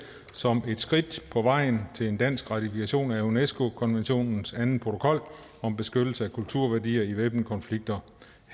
som et skridt på vejen til en dansk ratifikation af unesco konventionens anden protokol om beskyttelse af kulturværdier i væbnede konflikter